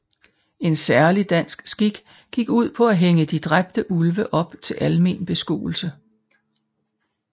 En særlig dansk skik gik ud på at hænge de dræbte ulve op til almen beskuelse